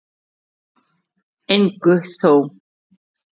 En engu þó.